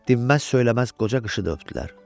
Dinməz-söyləməz qoca qışı da öpdülər.